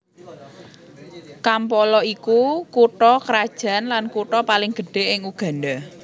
Kampala iku kutha krajan lan kutha paling gedhé ing Uganda